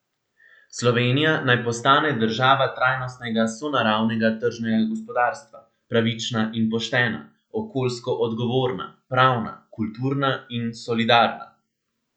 Slovenija naj postane država trajnostnega sonaravnega tržnega gospodarstva, pravična in poštena, okoljsko odgovorna, pravna, kulturna in solidarna.